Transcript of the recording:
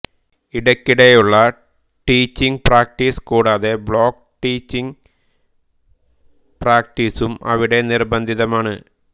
ഇടയ്ക്കിടെയുള്ള teaching practice കൂടാതെ block teaching പ്രാക്റ്റീസും അവിടെ നിർബന്ധിതമാണ്